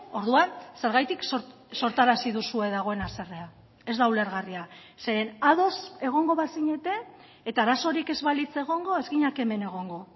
orduan zergatik sortarazi duzue dagoen haserrea ez da ulergarria zeren ados egongo bazinete eta arazorik ez balitz egongo ez ginateke hemen egongo